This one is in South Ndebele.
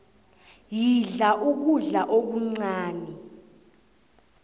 yidla ukudla okuncani